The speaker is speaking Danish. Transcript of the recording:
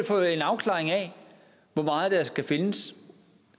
få en afklaring af hvor meget der skal findes